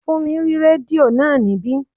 Fúnmi rí rédíò náà níbí